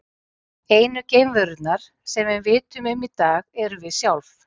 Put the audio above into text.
Einu geimverurnar sem við vitum um í dag erum við sjálf.